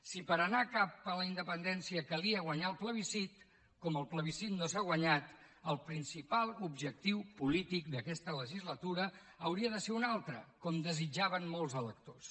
si per anar cap a la independència calia guanyar el plebiscit com el plebiscit no s’ha guanyat el principal objectiu polític d’aquesta legislatura hauria de ser un altre com desitjaven molts electors